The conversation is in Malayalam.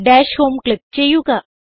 ഡാഷ് ഹോം ക്ലിക്ക് ചെയ്യുക